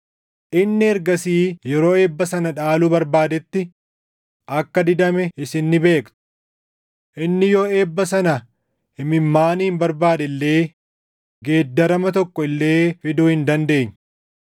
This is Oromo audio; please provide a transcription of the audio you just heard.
Inni ergasii yeroo eebba sana dhaaluu barbaadetti akka didame isin ni beektu. Inni yoo eebba sana imimmaaniin barbaade illee geeddarama tokko illee fiduu hin dandeenye.